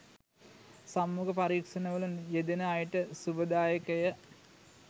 සම්මුඛ පරීක්ෂණවල යෙදෙන අයට ශුභදායකය